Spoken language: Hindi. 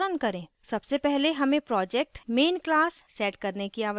सबसे पहले main project main class set करने की आवश्यकता है